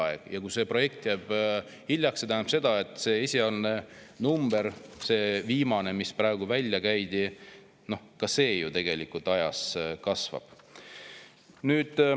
Aga kui see projekt jääb hiljaks, siis see tähendab seda, et see esialgne number – see viimane, mis praegu välja käidi – ka ju tegelikult ajas kasvab.